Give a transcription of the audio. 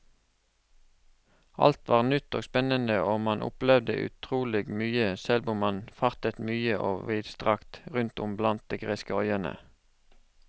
Alt var nytt og spennende og man opplevde utrolig mye, selv om man fartet mye og vidstrakt rundt om blant de greske øyene.